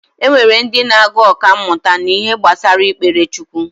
Enwere ndị na-agu ọkammụta n’ihe gbasara ikpere chukwu